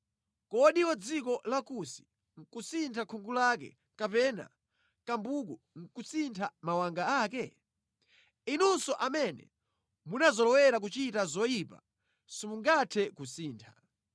Kodi wa dziko la Kusi nʼkusintha khungu lake, kapena kambuku kusintha mawanga ake? Inunso amene munazolowera kuchita zoyipa simungathe kusintha.